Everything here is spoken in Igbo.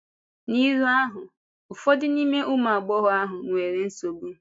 N’ílù ahụ, ụfọdụ n’ime ụmụ agbọghọ ahụ nwere nsogbu.